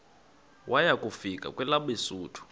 waya kufika kwelabesuthu